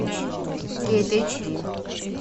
кейт эйч ди